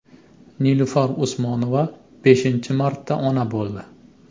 Nilufar Usmonova beshinchi marta ona bo‘ldi.